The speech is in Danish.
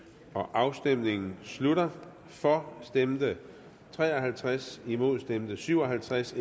afstemningen slutter for stemte tre og halvtreds imod stemte syv og halvtreds